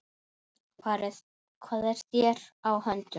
Hvað er þér á höndum?